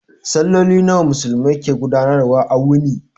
Salloli nawa Musulmai su ke gudanar wa a wuni?